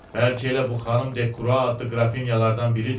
Bəlkə elə bu xanım De Krua adlı qrafinyalardan biridir.